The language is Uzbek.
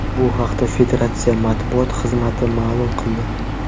Bu haqda federatsiya matbuot xizmati ma’lum qildi .